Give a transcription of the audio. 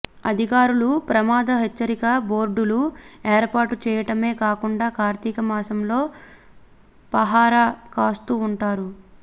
అధికారులు ప్రమాద హెచ్చరిక బోర్డులు ఏర్పాటు చేయటమే కాకుండా కార్తీక మాసంలో పహరా కాస్తూ ఉంటారు